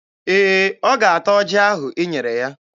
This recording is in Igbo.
Ee, ọ ga-ata ọjị ahụ i nyere ya.